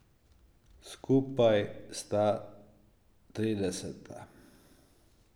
Skupaj sta trideseta.